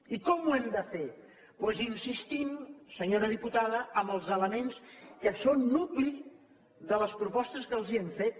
i com ho hem de fer doncs insistint senyora diputada en els elements que són nucli de les propostes que els hem fet